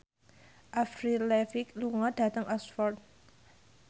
Avril Lavigne lunga dhateng Oxford